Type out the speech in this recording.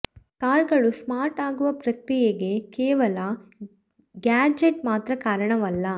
car ಗಳು smart ಆಗುವ ಪ್ರಕ್ರಿಯೆಗೆ ಕೇವಲ ಗ್ಯಾಜೆಟ್ ಮಾತ್ರ ಕಾರಣವಲ್ಲ